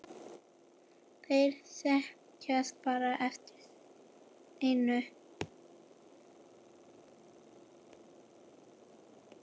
Þeir sækjast bara eftir einu.